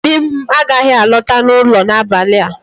Di m agaghị alọta ụlọ n'abalị a